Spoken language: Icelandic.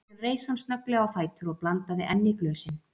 Síðan reis hann snögglega á fætur og blandaði enn í glösin.